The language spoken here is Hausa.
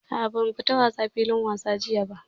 A'a ba mu fita wasa filin wasa jiya ba.